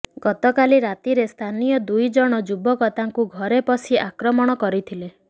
ଗତକାଲି ରାତିରେ ସ୍ଥାନୀୟ ଦୁଇ ଜଣ ଯୁବକ ତାଙ୍କୁ ଘରେ ପଶି ଆକ୍ରମଣ କରିଥିଲେ